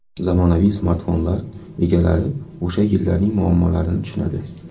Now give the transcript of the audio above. Zamonaviy smartfonlar egalari o‘sha yillarning muammolarini tushunadi.